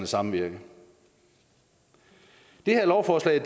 samvirke det her lovforslag